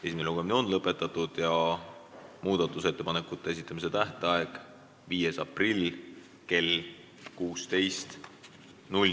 Esimene lugemine on lõpetatud ja muudatusettepanekute esitamise tähtaeg on 5. aprill kell 16.